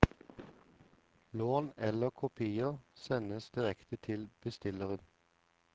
Lån eller kopier sendes direkte til bestilleren.